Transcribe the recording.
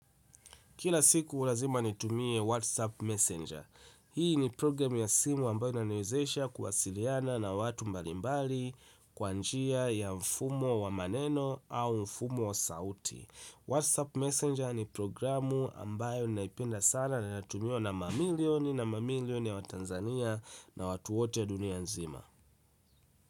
Kila siku lazima nitumie WhatsApp Messenger. Hii ni programu ya simu ambayo inaniezesha kuwasiliana na watu mbalimbali kwa njia ya mfumo wa maneno au mfumo wa sauti. Whatsapp messenger ni programu ambayo naipenda sana na inatumiwa na mamilioni na milioni ya watanzania na watu wote dunia nzima.